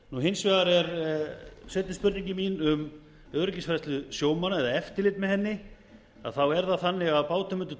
áfram hins vegar er seinni spurningin mín um öryggisatriði sjómanna eða eftirlit með þeim þá er það þannig að bátum undir